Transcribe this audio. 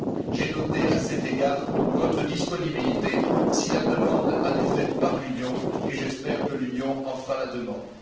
J'ai noté à cet égard votre disponibilité si la demande en est faite par l'Union, et j'espère que l'Union en fera la demande.